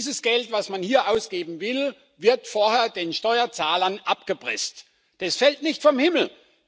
Dieses Geld, das man hier ausgeben will, wird vorher den Steuerzahlern abgepresst, das fällt nicht vom Himmel.